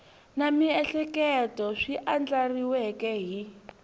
na miehleketo swi andlariweke hi